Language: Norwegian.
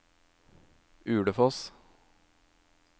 Ulefoss